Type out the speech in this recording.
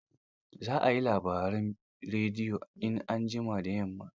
Za a yi labaran rediyo in an jima da yamma.